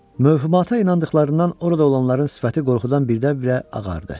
Möhümata inandıqlarından orada olanların sifəti qorxudan birdən-birə ağardı.